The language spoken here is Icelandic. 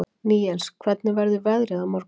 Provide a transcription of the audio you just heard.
Níels, hvernig verður veðrið á morgun?